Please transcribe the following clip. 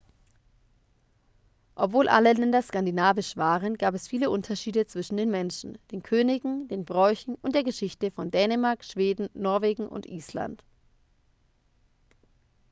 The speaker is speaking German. obwohl alle länder skandinavisch waren gab es viele unterschiede zwischen den menschen den königen den bräuchen und der geschichte von dänemark schweden norwegen und island